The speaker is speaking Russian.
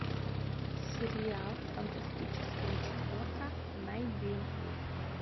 сериал фантастическая четверка найди